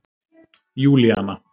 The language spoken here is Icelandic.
Júlíana